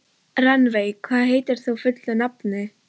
Rannveig, hvað heitir þú fullu nafni?